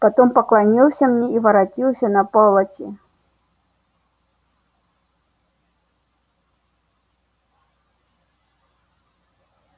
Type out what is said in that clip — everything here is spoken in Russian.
потом поклонился мне и воротился на полати